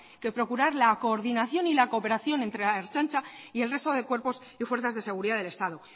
que procurar la coordinación y la cooperación entre ertzaintza y el resto de cuerpos y fuerzas de seguridad de estado